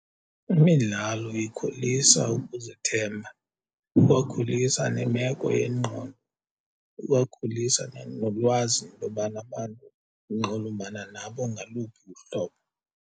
Imidlalo ikhulisa ukuzithemba, ikwakhulisa nemeko yengqondo, ikwakhulisa nolwazi intobana abantu unxulumana nabo ngaluphi uhlobo.